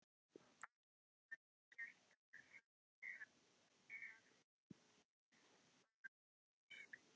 Að það væri gætt að henni í fangelsinu?